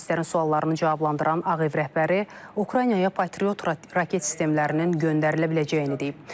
Jurnalistlərin suallarını cavablandıran Ağ Ev rəhbəri Ukraynaya Patriot raket sistemlərinin göndərilə biləcəyini deyib.